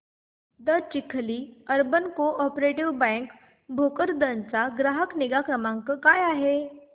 दि Chikhli urban co-operative bank Bhokardan चा ग्राहक निगा क्रमांक काय आहे